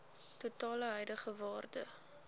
totale huidige waarde